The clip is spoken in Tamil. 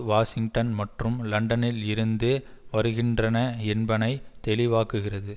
வாஷிங்டன் மற்றும் லண்டனில் இருந்து வருகின்றன என்பனை தெளிவாக்குகிறது